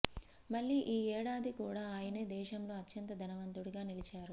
మళ్లీ ఈ ఏడాది కూడా ఆయనే దేశంలో అత్యంత ధనవంతుడిగా నిలిచారు